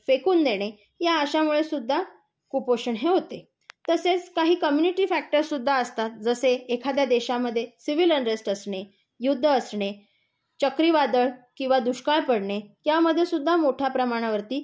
फेकून देणे, या अशामुळे सुद्धा कुपोषण हे होते. तसेच काही कम्युनिटी फ्याक्टरसुद्धा असतात जसे एखाद्या देशमध्ये सिविल अनरेस्ट असणे, युद्ध असणे, चक्रीवादळ किंवा दुष्काळ पडणे, त्यामध्ये सुद्धा मोठ्या प्रमाणावर